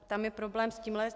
Tam je problém s tímhle.